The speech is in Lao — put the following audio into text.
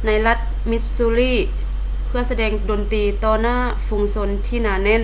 louis ໃນລັດ ມິດຊູຣີ່ missouri ເພື່ອສະແດງດົນຕີຕໍ່ໜ້າຝູງຊົນທີ່ໜາແໜ້ນ